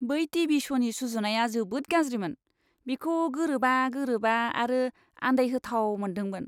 बै टीवी श'नि सुजुनाया जोबोद गाज्रिमोन। बिखौ गोरोबा गोरोबा आरो आन्दायहोथाव मोनदोंमोन।